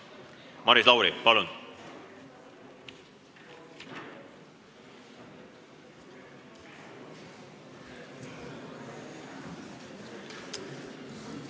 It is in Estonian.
Maris Lauri, palun!